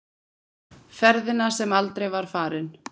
Ferðina sem aldrei var farin.